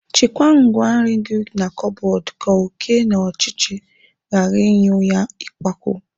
Chekwaa ngwaa nri gị na kọbọd ka oké na ọchịchị ghara ịnyụ ya ikpakwu.